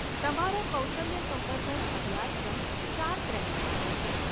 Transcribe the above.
તમારો કૌશલ્ય સંવર્ધન અભ્યાસક્રમ ચાર ક્રેડિટ માટે છે.